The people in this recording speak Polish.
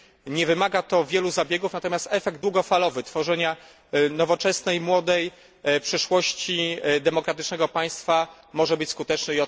Nie wymaga to wielu zabiegów, natomiast efekt długofalowy tworzenia nowoczesnej młodej przyszłości demokratycznego państwa może być skuteczny.